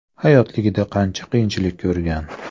Hayotligida qancha qiyinchilik ko‘rgan.